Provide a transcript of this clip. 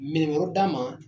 Minɛn wɛrɛw d'a ma